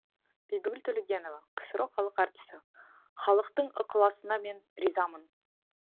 бибігүл төлегенова ксро халық әртісі халықтың ықыласына мен ризамын